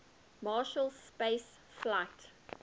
marshall space flight